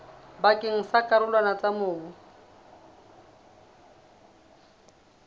pakeng tsa dikarolwana tsa mobu